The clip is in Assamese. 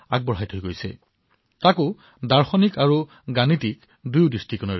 তেওঁ দৰ্শন আৰু গণিত বিজ্ঞান দুয়োটাৰ জৰিয়তে ইয়াৰ ব্যাখ্যা কৰিছিল